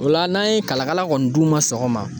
O la n'an ye kalakala kɔni d'u ma sɔgɔma.